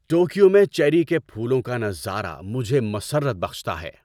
Tokyo میں cherry کے پھولوں کا نظارہ مجھے مسرت بخشتا ہے۔